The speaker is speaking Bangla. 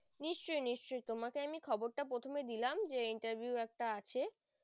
নিশ্চই নিশ্চই তোমাকে আমি খবরটা প্রথমে দিলাম যে interview একটা আছে